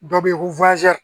Dɔ bɛ ye ko